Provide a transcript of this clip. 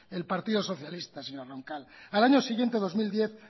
el partido socialista señora roncal al año siguiente dos mil diez